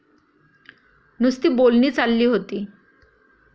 नुसती बोलणी चालली होती.